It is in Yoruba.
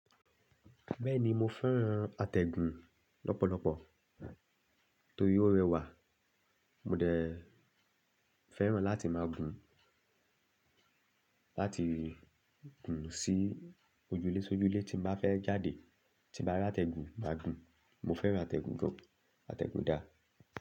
Bẹ́ẹ̀ni, mo fẹ́ràn àtẹ̀gùn lọ́pọ̀lọ́pọ̀ torí ó rẹwà. Mo dẹ fẹ́ràn láti máa gùn, láti gùn sí ojúlésójúlé tí n bàá fẹ́ jáde. Tí bàá rátẹ̀gùn, màá gùn. Mo fẹ́ràn àtẹ̀gùn gan, àtẹ̀gùn dà?